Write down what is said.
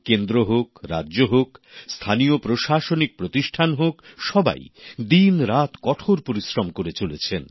কেন্দ্র হোক রাজ্য হোক স্থানীয় প্রশাসনিক প্রতিষ্ঠান হোক সবাই দিনরাত কঠোর পরিশ্রম করে চলেছেন